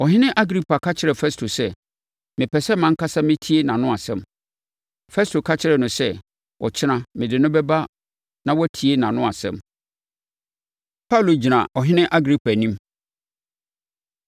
Ɔhene Agripa ka kyerɛɛ Festo sɛ, “Mepɛ sɛ mʼankasa metie nʼano asɛm.” Festo ka kyerɛɛ no sɛ, “Ɔkyena mede no bɛba na woatie nʼano asɛm.” Paulo Gyina Ɔhene Agripa Anim